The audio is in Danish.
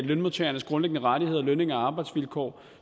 lønmodtagernes grundlæggende rettigheder lønninger og arbejdsvilkår